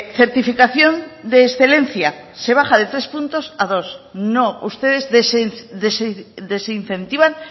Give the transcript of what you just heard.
certificación de excelencia se baja de tres puntos a dos no ustedes desincentivan